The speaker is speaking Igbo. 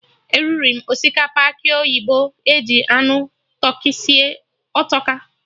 Eriri m osikapa akị oyibo eji anụ tụrkị sie, ọ tọka!